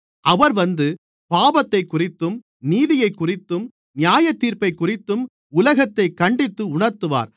அவர் வந்து பாவத்தைக்குறித்தும் நீதியைக்குறித்தும் நியாயத்தீர்ப்பைக்குறித்தும் உலகத்தைக் கண்டித்து உணர்த்துவார்